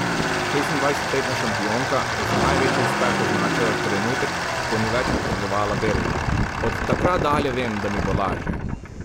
Šestindvajsetletna šampionka je za največji uspeh označila trenutek, ko ni več potrebovala bergel: 'Od takrat dalje vem, da mi bo lažje.